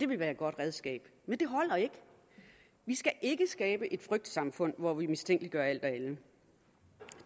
vil være et godt redskab men det holder ikke vi skal ikke skabe et frygtsamfund hvor vi mistænkeliggør alt og alle